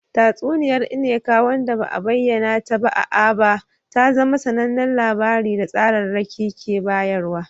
Tatsuniyar Nneka wanda ba a bayyana ta ba a Aba ta zama sanannen labari da tsararraki ke bayarwa.